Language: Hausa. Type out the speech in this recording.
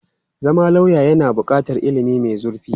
Zama lauya yana buƙatar ilimi mai zurfi.